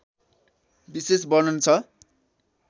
विशेष वर्णन छ